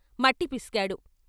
మట్టి పిసికాడు.